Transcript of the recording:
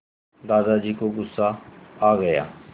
दादाजी को गुस्सा आ गया